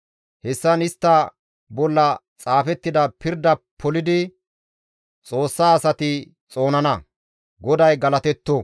Hessan istta bolla xaafettida pirda polidi Xoossa asati xoonana. GODAY galatetto!